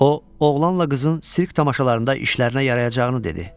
O, oğlanla qızın sirk tamaşalarında işlərinə yarayacağını dedi.